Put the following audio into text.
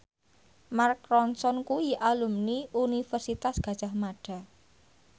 Mark Ronson kuwi alumni Universitas Gadjah Mada